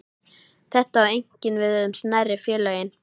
Þetta á einkum við um smærri félögin.